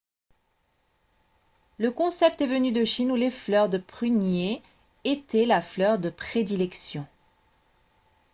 le concept est venu de chine où les fleurs de prunier étaient la fleur de prédilection